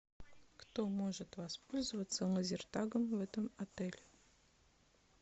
кто может воспользоваться лазертагом в этом отеле